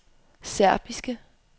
serbiske